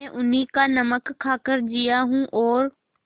मैं उन्हीं का नमक खाकर जिया हूँ और